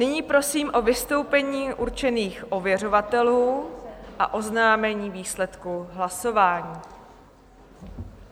Nyní prosím o vystoupení určených ověřovatelů a oznámení výsledku hlasování.